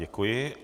Děkuji.